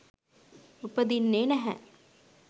උපදින්නේ නැහැ.